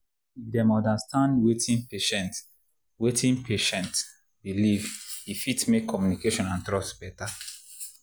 if dem understand wetin patient wetin patient believe e fit make communication and trust better.